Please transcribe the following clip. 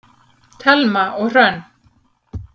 Thelma og Hrönn.